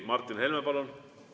Martin Helme, palun!